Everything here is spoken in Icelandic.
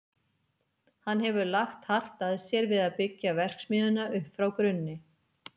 Hann hefur lagt hart að sér við að byggja verksmiðjuna upp frá grunni.